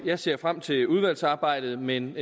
jeg ser frem til udvalgsarbejdet men